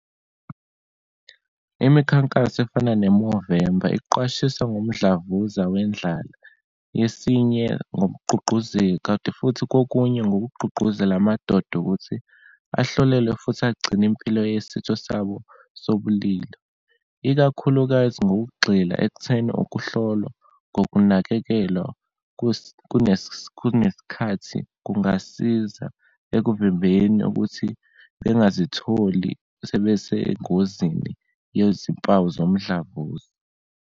Imikhankaso efana ne-Movember iqwashisa ngomdlavuza wendlala yesinye, ngokugqugquzeka. Kanti futhi kokunye ngokugqugquzela amadoda ukuthi ahlolelwe, futhi agcine impilo yesitho sabo sobulili, ikakhulukazi ngokugxila ekutheni ukuhlolwa ngokunakekelwa kunesikhathi kungasiza ekuvimbeni ukuthi bengazitholi sebesengozini yezimpawu zomdlavuza.